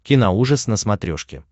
киноужас на смотрешке